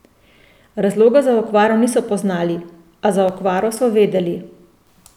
Razloga za okvaro niso poznali, a za okvaro so vedeli.